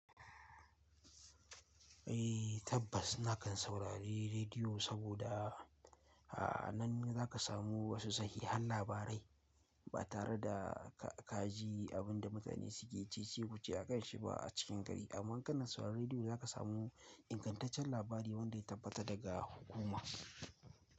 Eh tabbas na kan saurari rediyo saboda a nan za ka samu wasu sahihan labarai ba tare da kaji abin da mutane suke cece kuce a kanshi ba a cikin gari. Amma kana sauraron rediyo za ka samu ingantaccen labari wanda ya tabbata daga hukuma.